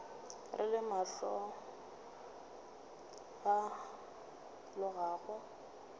re le mohla o alogago